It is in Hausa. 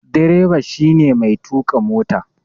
Direba shi ne Mai tuka mota.